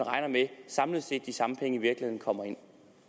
samlet set at de samme penge i virkeligheden kommer ind